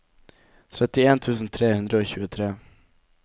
trettien tusen tre hundre og tjuetre